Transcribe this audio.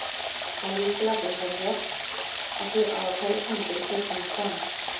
Það er lykilatriði hjá mér af því að á hverju tímabili fer honum fram.